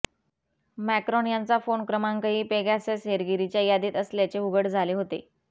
Macron यांचा phone क्रमांकही Pegasus हेरगिरीच्या यादीत असल्याचे उघड झाले होते